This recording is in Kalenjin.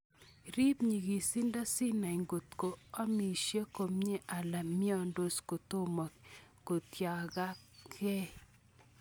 Rip nyikisindo sinai kotko omisie komie ala miondos kotomo kotiaktakei.